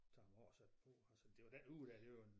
Tage dem af og sætte på altså det var den uge der det var en